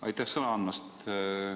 Aitäh sõna andmast!